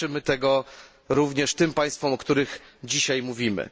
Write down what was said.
Życzymy tego również tym państwom, o których dzisiaj mówimy.